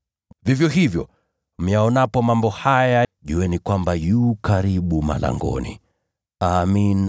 Vivyo hivyo, myaonapo mambo haya yote, mnatambua kwamba wakati u karibu, hata malangoni.